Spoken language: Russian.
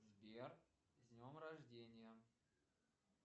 сбер с днем рождения